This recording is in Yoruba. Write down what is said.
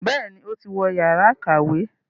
Béèni o tí wọ Yàrá ìkàwé.